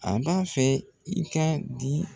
A b'a fɛ i k'a di